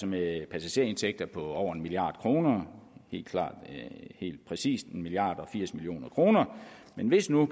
med passagerindtægter på over en milliard kroner helt præcis en milliard og firs million kroner men hvis nu